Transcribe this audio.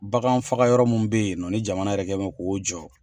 Bagan faga yɔrɔ minnu be ye nɔ ni jamana yɛrɛ kɛ bɛ jɔ